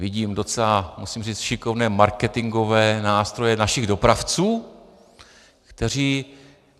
Vidím docela, musím říct, šikovné marketingové nástroje našich dopravců, kteří...